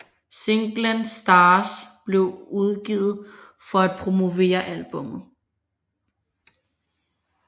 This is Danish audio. Singlen Stars blev udgivet for at promovere albummet